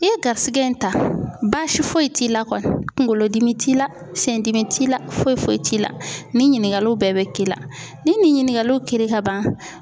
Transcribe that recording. I ye garisigɛ in ta basi foyi t'i la kɔni kunkolodimi t'i la sendimi t'i la foyi foyi t'i la nin ɲininkaliw bɛɛ bɛ k'i la ni nin ɲininkaliw kiri ka ban.